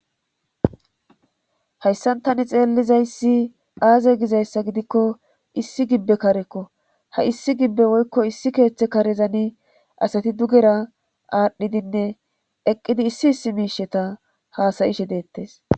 hayssan tani xeellizayssi aaze gizayssa gidikko issi gibbe karekko ha issi gibbe woykko issi keeththe karezani asati dugera aadhdhidinne eqqidi issi issi miisheta haasayishe deettes